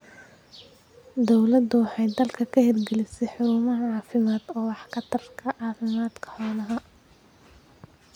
Dawladdu waxay dalka ka hirgelisay xarumo caafimaad oo wax ka tarta caafimaadka xoolaha.